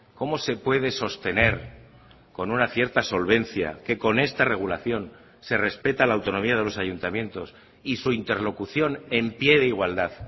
cómo se puede sostener con una cierta solvencia que con esta regulación se respeta la autonomía de los ayuntamientos y su interlocución en pie de igualdad